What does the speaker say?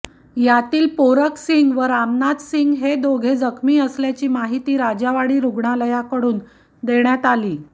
यातील पोरक सिंग व रामनाथ सिंग हे दोघे जखमी असल्याची माहिती राजावाडी रुग्णालयाकडून देण्यात आली